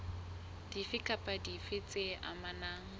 dife kapa dife tse amanang